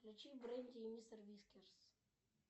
включи бренди и мистер вискерс